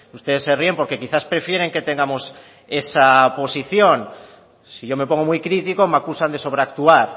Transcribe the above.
ustedes se ríen porque quizás prefieren que tengamos esa posición si yo me pongo muy crítico me acusan de sobre actuar